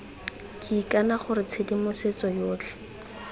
ke ikana gore tshedimosetso yotlhe